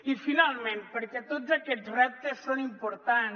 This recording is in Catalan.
i finalment perquè tots aquests reptes són importants